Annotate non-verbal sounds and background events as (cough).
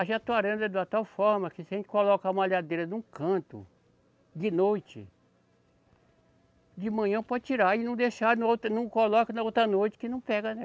(unintelligible) é de uma tal forma que se a gente colocar a malhadeira num canto, de noite, de manhã pode tirar e não deixar no outro, não coloca na outra noite que não pega. (unintelligible)